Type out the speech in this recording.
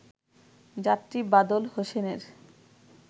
যাত্রী বাদল হোসেনের